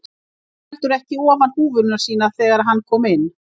Hann tók heldur ekki ofan húfuna sína þegar hann kom inn.